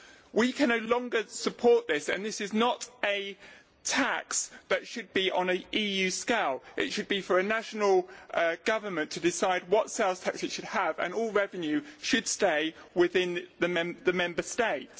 We can no longer support this and this is not a tax that should be on an EU scale. It should be for a national government to decide what sales tax it should have and all revenue should stay within the Member State.